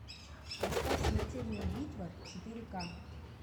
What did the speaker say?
поставь смертельная битва четыре ка